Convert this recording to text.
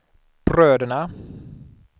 bröderna